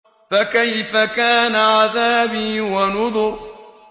فَكَيْفَ كَانَ عَذَابِي وَنُذُرِ